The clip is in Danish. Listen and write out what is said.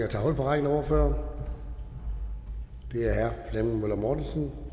og tage hul på rækken af ordførere det er herre flemming møller mortensen